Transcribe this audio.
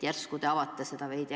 Järsku te avate seda veidi.